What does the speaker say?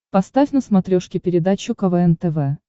поставь на смотрешке передачу квн тв